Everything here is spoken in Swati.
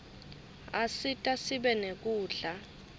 asita sibe nekudla